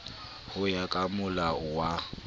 ho ya ka molao wa